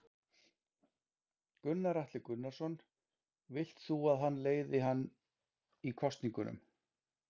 Gunnar Atli Gunnarsson: Vilt þú að hann leiði hann í kosningunum?